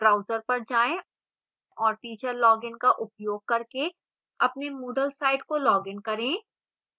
browser पर जाएँ और teacher login का उपयोग करके अपने moodle site को login करें